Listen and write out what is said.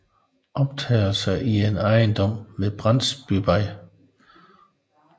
Optagelser i en ejendom på Brandsbyvej